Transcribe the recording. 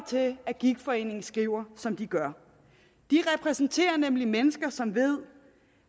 til at gigtforeningen skriver som de gør de repræsenterer nemlig mennesker som ved